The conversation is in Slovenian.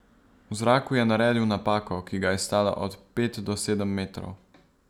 V zraku je naredil napako, ki ga je stala od pet do sedem metrov.